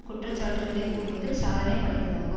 குற்றச்சாட்டுக்களை கூறுவதில் சாதனை படைத்ததாகும்